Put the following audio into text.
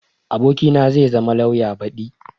abokina zai zama lauya badi